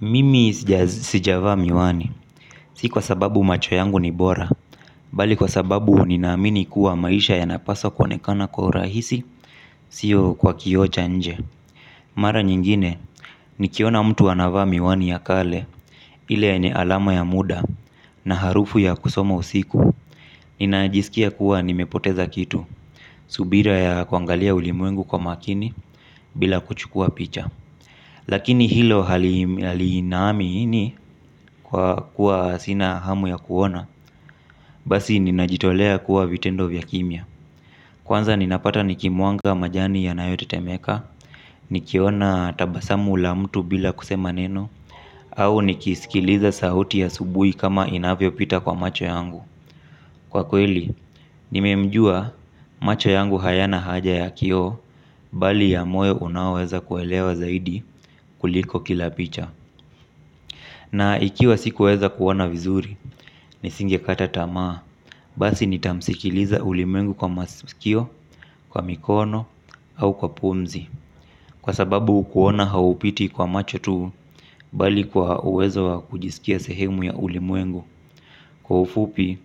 Mimi sijavaa miwani, si kwa sababu macho yangu ni bora, bali kwa sababu ninaamini kuwa maisha yanapaswa kuonekana kwa urahisi, siyo kwa kioo cha nje. Mara nyingine, nikiona mtu anavaa miwani ya kale, ile yenye alama ya muda, na harufu ya kusoma usiku, ninajiskia kuwa nimepoteza kitu, subira ya kuangalia ulimwengu kwa makini, bila kuchukua picha. Lakini hilo haliinami ini kwa kuwa sina hamu ya kuona. Basi ninajitolea kuwa vitendo vya kimya. Kwanza ninapata nikimwaga majani yanayotetemeka. Nikiona tabasamu la mtu bila kusema neno. Au nikisikiliza sauti ya asubuhi kama inavyopita kwa macho yangu. Kwa kweli, nimemjua macho yangu hayana haja ya kioo bali ya moyo unaoweza kuelewa zaidi kuliko kila picha. Na ikiwa sikuweza kuona vizuri, nisingekata tamaa, basi nitamsikiliza ulimwengu kwa masikio, kwa mikono, au kwa pumzi. Kwa sababu kuoana haupiti kwa macho tu, bali kwa uwezo wa kujisikia sehemu ya ulimwengu. Kwa ufupi,